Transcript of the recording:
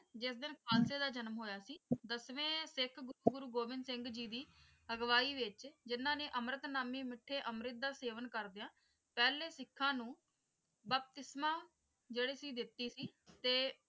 ਜਿਸ ਦਿਨ ਖਾਲਸੇ ਦਾ ਜਨਮ ਹੋਈ ਸੀ ਦਸਵੇਂ ਸਿੱਖ ਗੁਰੂ ਗੋਬਿੰਦ ਸਿੰਘ ਜੀ ਦੀ ਅਗਵਾਈ ਵਿੱਚ ਜਿਨ੍ਹਾਂ ਨੇ ਅਮ੍ਰਿਤਨਾਮੀ ਮਿੱਠੇ ਅੰਮ੍ਰਿਤ ਦਾ ਸੇਵਨ ਕਰਦਿਆਂ ਪਹਿਲੇ ਸਿੱਖਾਂ ਨੂੰ ਬਪਤਿਸਮਾਂ ਜਿਹੜੀ ਸੀ ਦਿੱਤੀ ਸੀ ਤੇ,